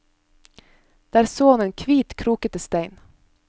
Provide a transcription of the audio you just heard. Der så han en kvit, krokete stein.